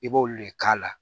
I b'olu de k'a la